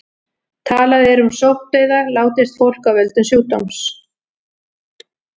Talað er um sóttdauða látist fólk af völdum sjúkdóms.